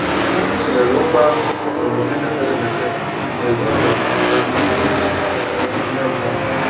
M tụlere okwu ahụ n’ọmume mepere emepe na ezinụlọ m na ndị nkuzi ime mmụọ.